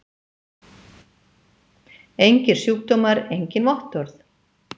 Engir sjúkdómar engin vottorð!